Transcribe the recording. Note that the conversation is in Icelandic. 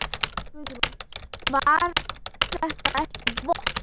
Guðrún: Var þetta ekki vont?